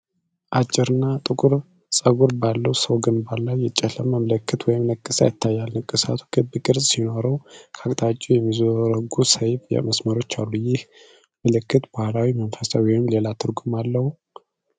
አጭርና ጥቁር ፀጉር ባለው ሰው ግንባር ላይ የጨለመ ምልክት ወይም ንቅሳት ይታያል። ንቅሳቱ ክብ ቅርፅ ሲኖረው፣ ከየአቅጣጫው የሚዘረጉ ሰያፍ መስመሮች አሉ፣ ይህ ምልክት ባህላዊ፣ መንፈሳዊ ወይስ ሌላ ትርጉም አለው?